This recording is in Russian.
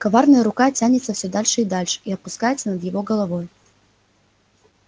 коварная рука тянется все дальше и дальше и опускается над его головой